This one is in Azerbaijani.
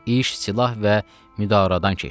İş silah və müdaradan keçdi.